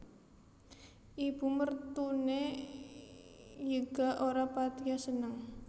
Ibu mertune yga ora patiya seneng